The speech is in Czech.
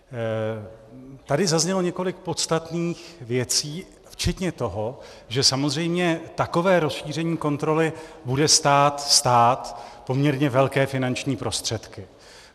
Tady zaznělo několik podstatných věcí včetně toho, že samozřejmě takové rozšíření kontroly bude stát stát poměrně velké finanční prostředky.